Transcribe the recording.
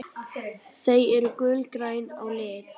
Þau eru gulgræn á lit.